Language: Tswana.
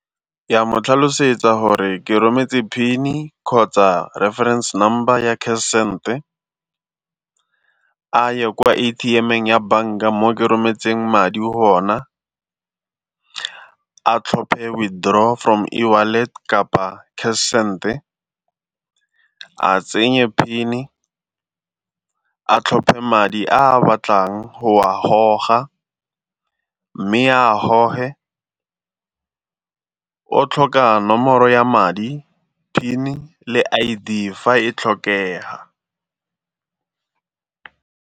Ya mo tlhalosetsa gore ke rometse PIN-e di kgotsa reference number ya cash send-e, a ye kwa A_T_M-eng ya banka mo ke rometseng madi gona, a tlhophe withdraw from e-wallet kapa cash send-e a tsenye PIN-e, a tlhophe madi a a batlang go a goga, mme a a goge o tlhoka nomoro ya madi PIN-e le I_D fa e tlhokega.